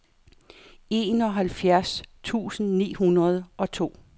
enoghalvfjerds tusind ni hundrede og to